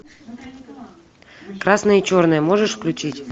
красное и черное можешь включить